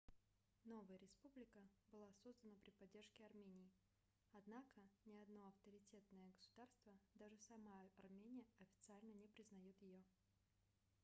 новая республика была создана при поддержке армении однако ни одно авторитетное государство даже сама армения официально не признаёт её